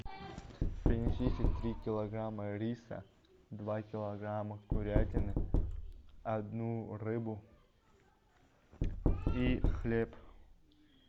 принесите три килограмма риса два килограмма курятины одну рыбу и хлеб